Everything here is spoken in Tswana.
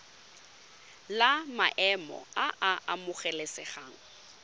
la maemo a a amogelesegang